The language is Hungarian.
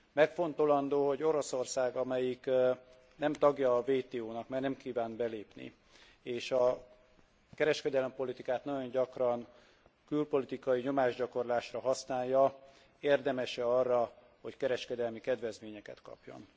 Megfontolandó, hogy Oroszország, amely nem tagja WTO nak, mert nem kívánt belépni, és a kereskedelempolitikát nagyon gyakran külpolitikai nyomásgyakorlásra használja, érdemes e arra, hogy kereskedelmi kedvezményeket kapjon.